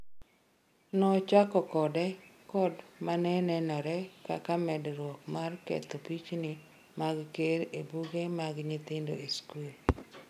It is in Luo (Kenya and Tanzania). nochako kode kod mane nenore kaka medruok mar ketho pichni mag ker ebuge mag nyithindo e sikul